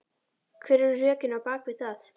Hver eru rökin á bakvið það?